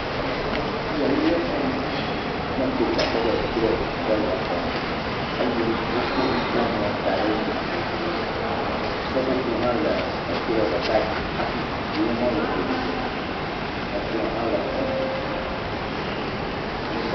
Afi yia nye xɔme. Ne ekpɔe ko akpɔ be drɔ aɖe le xɔme eye wokɔ nukpɔmɔ da ɖe edzi. Seƒoƒo hã le edrɔ ɖeka dzi hafi zikpuiwo hã le domidomi.